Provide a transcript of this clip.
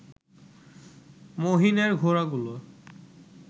মহিনের ঘোড়াগুলো